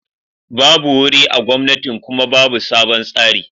babu wuri a gomnatin Kuma babu sabon tsari.